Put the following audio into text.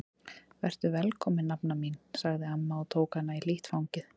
Vertu velkomin nafna mín sagði amma og tók hana í hlýtt fangið.